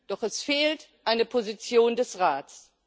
Doch es fehlt eine Position des Rates.